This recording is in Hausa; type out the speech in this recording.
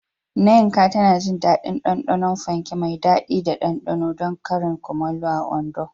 Nneka tana jin daɗin ɗanɗanon fanke mai daɗi da ɗanɗano don karin kumallo a Ondo.